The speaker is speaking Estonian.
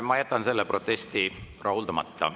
Ma jätan selle protesti rahuldamata.